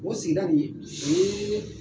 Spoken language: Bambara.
O sigida nin o ye